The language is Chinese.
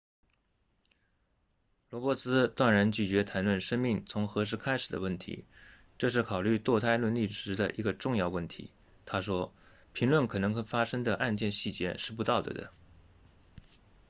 罗伯茨断然拒绝谈论生命从何时开始的问题这是考虑堕胎伦理时的一个重要问题他说评论可能发生的案件细节是不道德的